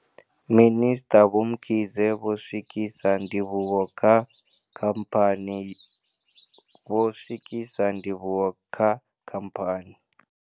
Minisṱa Vho Mkhize vho swikisa ndivhuwo kha khamphani vho swikisa ndivhuwo kha khamphani.